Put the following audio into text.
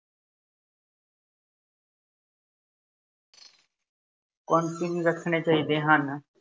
ਰੱਖਣੇ ਚਾਹੀਦੇ ਹਨ।